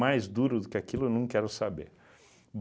Mais duro do que aquilo eu não quero saber.